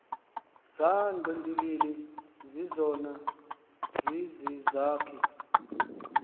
zangqindilili zizona zizizakhi